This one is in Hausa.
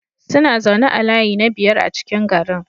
Suna zaune a layi na biyar a cikin garin.